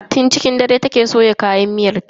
Tun cikin dare take soya kayan miyar ta.